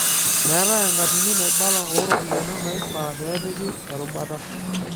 Meetai enkatini naibala ooropiyana naifaa peepiki erubata.